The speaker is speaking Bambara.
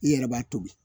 I yɛrɛ b'a tobi